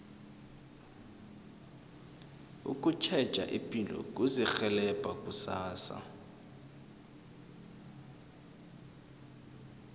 ukutjheja ipilo kuzirhelebha kusasa